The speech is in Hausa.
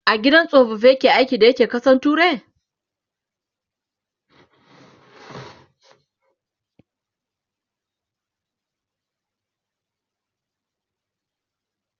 a gidan tsofaffi yayi aiki da ya ke ƙasan turai?